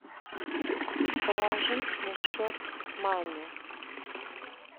положить на счет маме